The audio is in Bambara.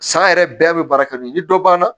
San yɛrɛ bɛɛ bɛ baara kɛ nin dɔ banna